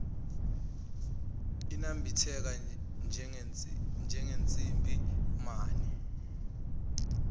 inambitheka njengensimbi mane